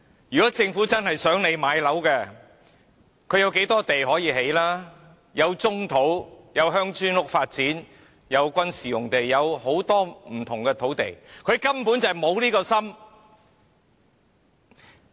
如果政府真的希望市民能夠買樓，有很多土地可用來建屋：有棕土、鄉村式發展用地、軍事用地等很多不同的土地，政府根本沒有心。